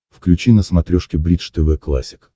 включи на смотрешке бридж тв классик